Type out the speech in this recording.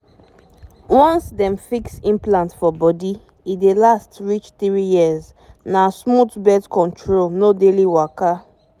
once dem fix implant for body e dey last reach three years — na smooth birth control no daily waka.